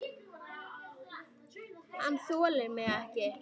Lítur um öxl.